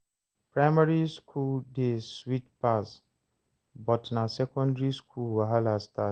Primary school days sweet pass, but na secondary school wahala start.